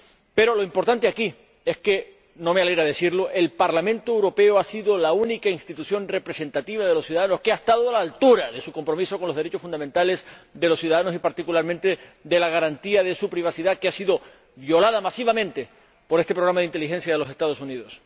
Pero lo importante aquí —aunque no me alegra decirlo— es que el Parlamento Europeo ha sido la única institución representativa de los ciudadanos que ha estado a la altura de su compromiso con los derechos fundamentales de los ciudadanos y, particularmente, con la garantía de su privacidad, que ha sido violada masivamente por este programa de inteligencia de los Estados Unidos.